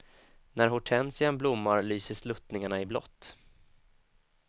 När hortensian blommar lyser sluttningarna i blått.